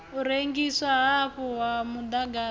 u rengiswa hafhu ha muḓagasi